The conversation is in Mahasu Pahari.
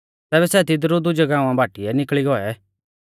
तैबै सै तिदरु दुजै गाँवा बाटीऐ निकल़ी गौऐ